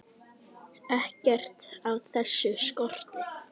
Ekkert af þessu skorti.